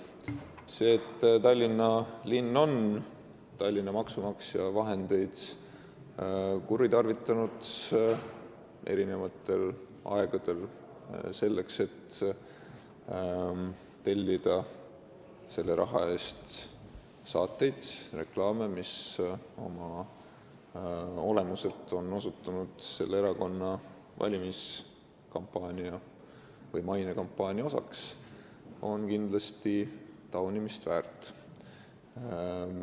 See, et Tallinna linn on maksumaksja vahendeid eri aegadel kuritarvitanud, et tellida selle raha eest saateid ja reklaame, mis on oma olemuselt osutunud erakonna valimis- või mainekampaania osaks, on kindlasti taunimist väärt.